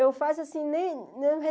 Eu faço assim, nem nem